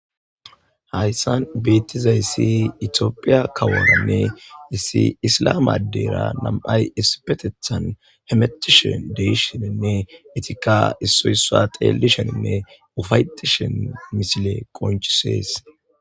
Hayssan bettizayssi iitophphiya kaworanne issi issilame addera nam'ay issippetethan hemetishe deishshenne eettikka issoy issuwa xeellishenne uffa'ettishin missiley qonccises.